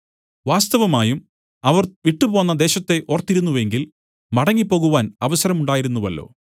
വാസ്തവമായും അവർ വിട്ടുപോന്ന ദേശത്തെ ഓർത്തിരുന്നു എങ്കിൽ മടങ്ങിപ്പോകുവാൻ അവസരം ഉണ്ടായിരുന്നുവല്ലോ